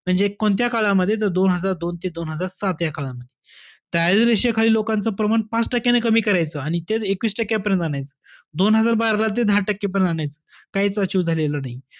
ते कोणत्या काळामध्ये तर दोन हजार दोन ते दोन हजार सात या काळामध्ये. दारिद्र्य रेषेखालील लोकांचं प्रमाण पाच टक्क्यानं कमी करायचं आणि ते एकवीस टक्क्यापर्यंत आणायचं. दोन हजार बारा ला ते दहा टक्क्यापर्यंत आणायचं. काहीच achieve झालेलं नाही.